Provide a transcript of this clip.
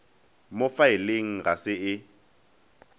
mo faeleng ga se e